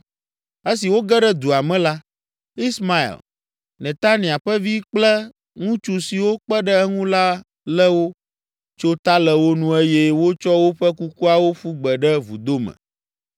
Esi woge ɖe dua me la, Ismael, Netania ƒe vi kple ŋutsu siwo kpe ɖe eŋu la lé wo, tso ta le wo nu eye wotsɔ woƒe kukuawo ƒu gbe ɖe vudo me.